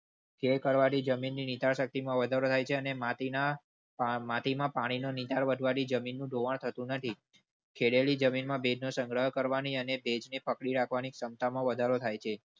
ખેળ કરવાળી જમીનની શક્તિ માં વધારો થાય છે અને માટી માં માટી માં પાણી નીચાણવાળી જમીનનું ધોવાણ થતું નથી. ખેડેલી જમીનમાં ભેજનો સંગ્રહ કરવાની અને ભેજને પકડી રાખવાની ક્ષમતામાં વધારો થાય છે.